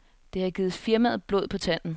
Det har givet firmaet blod på tanden.